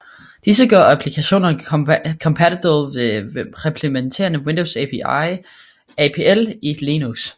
Disse gør applikationerne kompatible ved at reimplementere Windows API i Linux